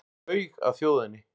Laug að þjóðinni